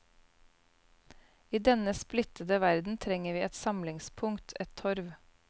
I denne splittede verden trenger vi et samlingspunkt, et torv.